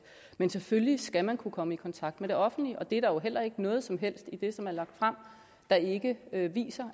men selvfølgelig skal man kunne komme i kontakt med det offentlige og det er der jo heller ikke noget som helst i det som er lagt frem der ikke viser